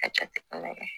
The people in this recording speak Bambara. A jate